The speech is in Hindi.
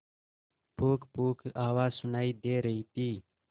पुकपुक आवाज सुनाई दे रही थी